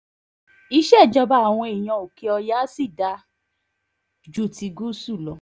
ìṣèjọba àwọn èèyàn òkè-ọ̀yà sì dáa ju ti gúúsù lọ